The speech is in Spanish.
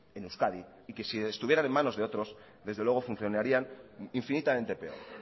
en euskadi y que si estuvieran en manos de otros desde luego funcionarían infinitamente peor